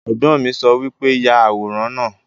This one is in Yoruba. Ẹ̀gbọ́n mi sọ wípé 'Yà àwòrán náà'